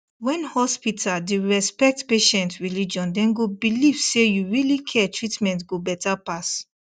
when hospital the respect patient religion dem go believe say you really care treatment go better pass